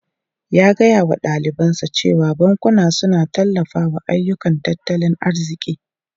Ya gaya wa dalibansa cewa bankuna suna tallafawa ayyukan tattalin arziki.